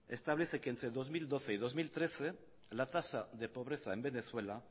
establece que entre dos mil doce y dos mil trece la tasa de pobreza en venezuela